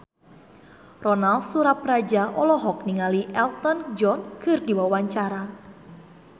Ronal Surapradja olohok ningali Elton John keur diwawancara